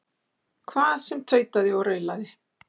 Hvað sem tautaði og raulaði.